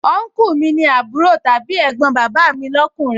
Ọnkúù mi ni àbúrò tàbí ẹ̀gbọ́n bàbà mi lọ́kùnrin